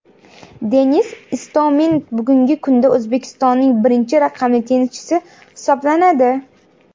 Denis Istomin bugungi kunda O‘zbekistonning birinchi raqamli tennischisi hisoblanadi.